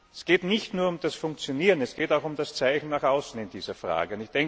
Es geht nicht nur um das Funktionieren, es geht auch um das Zeigen nach außen in dieser Frage.